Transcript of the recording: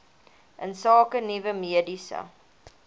insake nuwe mediese